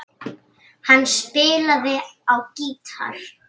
Hann spilaði á gítar.